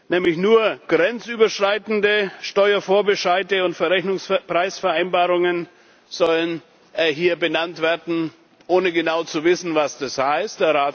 Nämlich nur grenzüberschreitende Steuervorbescheide und Verrechnungspreisvereinbarungen sollen hier benannt werden ohne genau zu wissen, was das heißt.